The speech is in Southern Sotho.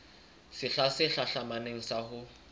sehla se hlahlamang sa ho